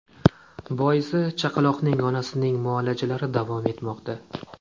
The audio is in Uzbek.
Boisi, chaqaloqning onasining muolajalari davom etmoqda.